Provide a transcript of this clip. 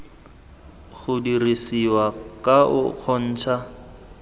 go dirisiwa ka o kgontsha